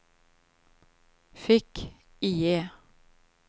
fick-IE